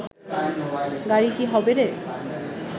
গাড়ি কি হবে রে